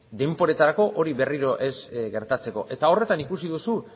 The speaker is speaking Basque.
denboretarako hori berriro ez gertatzeko eta horretan ikusi duzu